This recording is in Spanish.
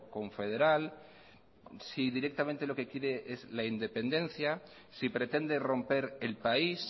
confederal si directamente lo que quiere es la independencia si pretende romper el país